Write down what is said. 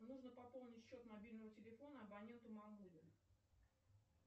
нужно пополнить счет мобильного телефона абоненту мамуле